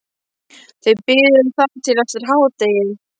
Þau biðu þar til eftir hádegi.